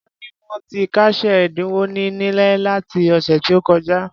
Wón ní wón ti kásẹ̀ ẹ̀dínwó wọn nílẹ̀ láti ọ̀sẹ̀ tí ó kọjá.